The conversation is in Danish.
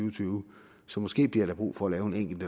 og tyve så måske bliver der brug for at lave en enkelt